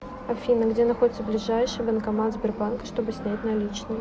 афина где находится ближайший банкомат сбербанка чтобы снять наличные